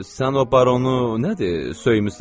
Sən o baronu nədir, söymüsən?